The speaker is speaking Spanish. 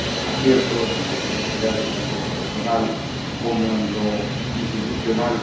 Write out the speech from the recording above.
aciertos y de felicidades, tanto en lo personal como en lo institucional.